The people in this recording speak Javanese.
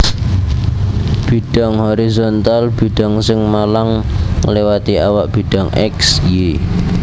Bidhang horizontal bidhang sing malang ngliwati awak bidhang X Y